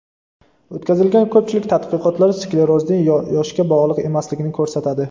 O‘tkazilgan ko‘pchilik tadqiqotlar sklerozning yoshga bog‘liq emasligini ko‘rsatadi.